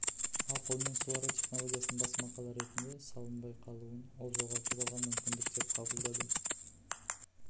ал қолмен суару технологиясының бас мақала ретінде салынбай қалуын ол жоғалтып алған мүмкіндік деп қабылдады